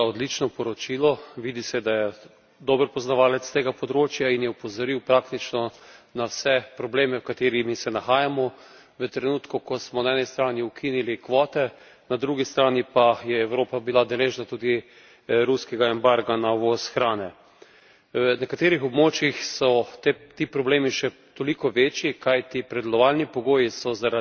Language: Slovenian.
Vidi se, da je dober poznavalec tega področja in je opozoril praktično na vse probleme pred katerimi se nahajamo v trenutku, ko smo na eni strani ukinili kvote, na drugi strani pa je Evropa bila deležna tudi ruskega embarga na uvoz hrane. Na nekaterih območjih so ti problemi še toliko večji, kajti pridelovalni pogoji so zaradi majhnih kmetij,